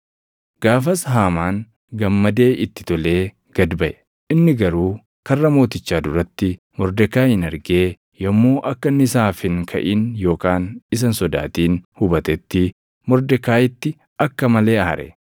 Gaafas Haamaan gammadee itti tolee gad baʼe. Inni garuu karra mootichaa duratti Mordekaayiin argee yommuu akka inni isaaf hin kaʼin yookaan isa hin sodaatin hubatetti Mordekaayiitti akka malee aare.